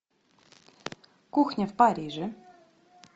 кухня в париже